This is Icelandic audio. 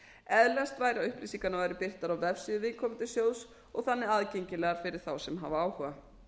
eðlilegast væri að upplýsingarnar væru birtar á vefsíðu viðkomandi sjóðs og þannig aðgengilegar fyrir þá sem hafa áhuga